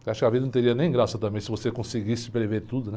Acho que a vida não teria nem graça também se você conseguisse prever tudo, né?